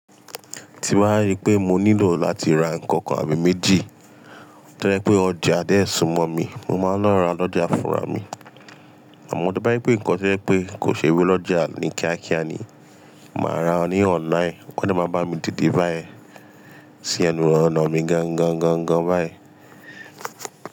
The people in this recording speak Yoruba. Tí bàá rí pé mo nílò láti ra nǹkàn kàn tàbì méjì, tó dà pé ọjà dẹ́ẹ̀ súnmọ́ mi, mo máa ń lọ ra lọ́jà fúnra mi. Àmọ́ tí bá yí pé nǹkan jẹ́ pé kò ṣe wí lọ́jà ní kíákíá ni, màá ra ní online, wọ́n sì máa bá mi tètè bá ẹ sí ẹnu rọ̀ná mi gan gan gan báyìí.